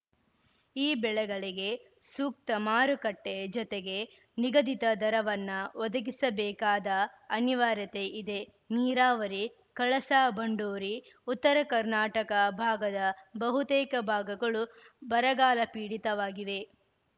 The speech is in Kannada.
ಈ ಬೆಳೆಗಳಿಗೆ ಸೂಕ್ತ ಮಾರುಕಟ್ಟೆಜತೆಗೆ ನಿಗದಿತ ದರವನ್ನ ಒದಗಿಸಬೇಕಾದ ಅನಿವಾರ್ಯತೆ ಇದೆ ನೀರಾವರಿ ಕಳಸಾ ಬಂಡೂರಿ ಉತ್ತರ ಕರ್ನಾಟಕ ಭಾಗದ ಬಹುತೇಕ ಭಾಗಗಳು ಬರಗಾಲಪೀಡಿತವಾಗಿವೆ